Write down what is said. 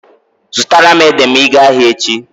Zụtara m ede ma ị gaa ahịa echi.